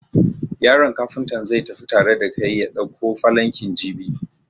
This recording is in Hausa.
Yaron Kafuntan zai tafi tare da kai ya dauko falankin jibi.